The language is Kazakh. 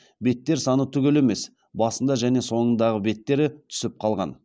беттер саны түгел емес басында және соңында беттері түсіп қалған